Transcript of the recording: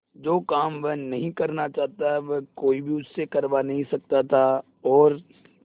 जो काम वह नहीं करना चाहता वह कोई भी उससे करवा नहीं सकता था और